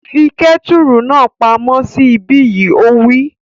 Fi kẹ́tùrù náà pa món sí ibí yìí! Ó wí